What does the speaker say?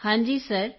ਕ੍ਰਿਤਿਕਾ ਹਾਂਜੀ ਸਰ